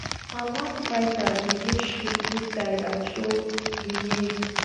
hamas fighters begin shoot inside and throw grenades